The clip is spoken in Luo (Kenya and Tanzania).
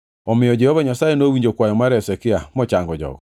Omiyo Jehova Nyasaye nowinjo kwayo mar Hezekia mochango jogo.